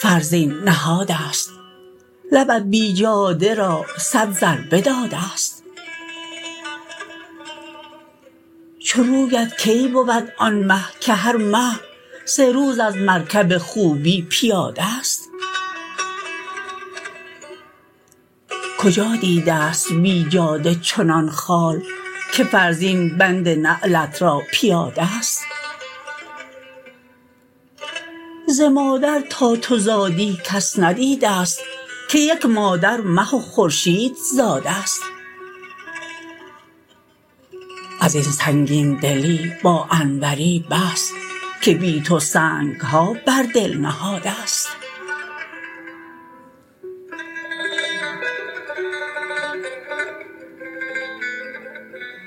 فرزین نهادست لبت بیجاده را صد ضربه دادست چو رویت کی بود آن مه که هر مه سه روز از مرکب خوبی پیادست کجا دیدست بیجاده چنان خال که فرزین بند نعلت را پیادست ز مادر تا تو زادی کس ندیدست که یک مادر مه و خورشید زادست از این سنگین دلی با انوری بس که بی تو سنگها بر دل نهادست